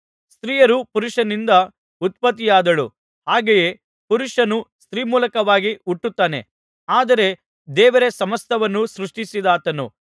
ಸ್ತ್ರೀಯು ಪುರುಷನಿಂದ ಉತ್ಪತ್ತಿಯಾದಳು ಹಾಗೆಯೇ ಪುರುಷನು ಸ್ತ್ರೀ ಮೂಲಕವಾಗಿ ಹುಟ್ಟುತ್ತಾನೆ ಆದರೆ ದೇವರೇ ಸಮಸ್ತವನ್ನು ಸೃಷ್ಟಿಸಿದಾತನು